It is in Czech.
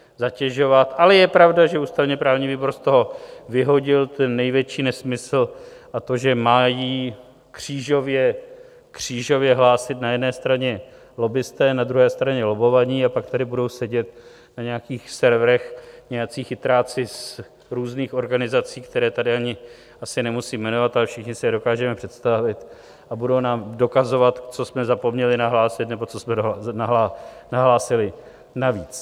Ale je pravda, že ústavně-právní výbor z toho vyhodil ten největší nesmysl, a to, že mají křížově hlásit na jedné straně lobbisté, na druhé straně lobbovaní, a pak tady budou sedět na nějakých serverech nějací chytráci z různých organizací, které tady ani asi nemusím jmenovat, ale všichni si je dokážeme představit, a budou nám dokazovat, co jsme zapomněli nahlásit nebo co jsme nahlásili navíc.